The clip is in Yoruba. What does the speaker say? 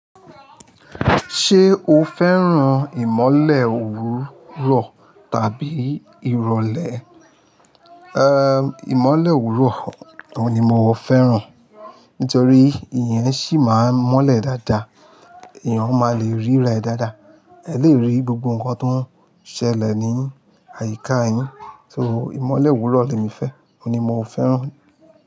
Ṣé o fẹ́ràn ìmọ̀le òwúrọ̀ tàbí ìrọ̀lẹ́? Ehn, ìmọ̀le òwúrọ̀ ni mo fẹ́ràn. Nítorí ìyẹn ṣì máa ń mọ́lẹ̀ dáadáa, èèyàn máa le ríra dáadáa, ẹ le rí gbogbo nǹkan tó ń ṣẹlẹ̀ ní àyíká yín. So ìmọ̀le òwúrọ̀ ni mo fẹ́, òun ni mo fẹ́ràn.